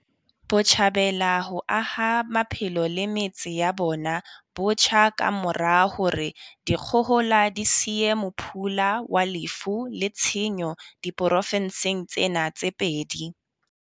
Botjhabela ho aha maphelo le metse ya bona botjha ka mora hore dikgohola di siye mophula wa lefu le tshenyo diprofenseng tsena tse pedi.